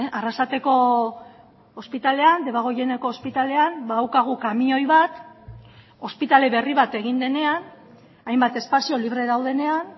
arrasateko ospitalean debagoieneko ospitalean badaukagu kamioi bat ospitale berri bat egin denean hainbat espazio libre daudenean